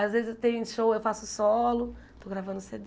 Às vezes eu tenho show, eu faço solo, estou gravando